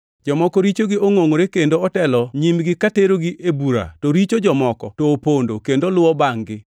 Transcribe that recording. Jomoko richogi ongʼongʼore kendo otelo nyimgi ka terogi e bura to richo jomoko to opondo kendo luwo bangʼ-gi.